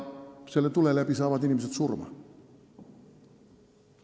Selle tule läbi saavad inimesed surma.